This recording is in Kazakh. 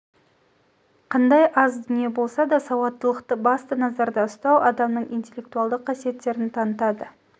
қандай аз дүние болса да сауаттылықты басты назарда ұстау адамның интеллектуалды қасиеттерін танытады